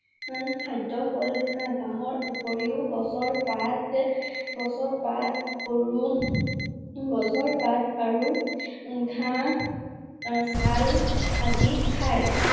খাদ্য হল ঘাঁহ। ঘাঁহৰ উপৰিও গছৰ পাত~গছৰ পাত~গৰু~গছৰ পাত আৰু ঘাঁহ, আহ ছাল আদি খাই